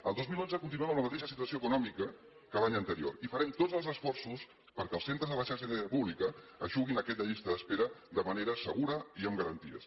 el dos mil dotze continuem amb la mateixa situació econòmica que l’any anterior i farem tots els esforços perquè els centres de la xarxa sanitària pública eixuguin aquesta llista d’espera de manera segura i amb garanties